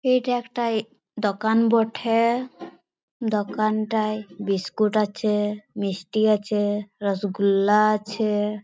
এইটা একটাই দোকান বঠে দোকানটায় বিস্কুট আছে মিষ্টি আছে রসগুল্লা আছে।